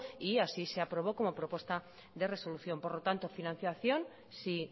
y así se aprobó como propuesta de resolución por lo tanto financiación si